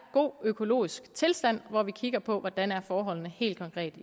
god økologisk tilstand hvor vi kigger på hvordan forholdene helt konkret